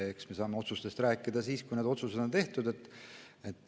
Eks me saame otsustest rääkida siis, kui otsused on tehtud.